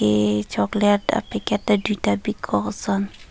eh chocolate a packet ta duita bikok ason.